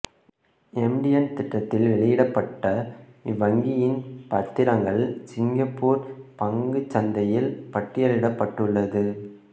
MTN திட்டத்தில் வெளியிடப்பட்ட இவ்வங்கியின் பத்திரங்கள் சிங்கப்பூர் பங்குச் சந்தையில் பட்டியலிடப்பட்டுள்ளது